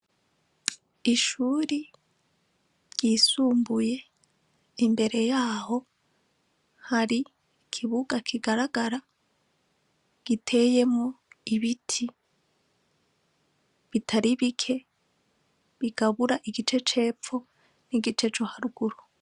Ishuri ryisumbuye imbere yaho hari kibuga kigaragara giteyemo ibiti bitari bike bigabura igice cepfo n'igice cu haruguru.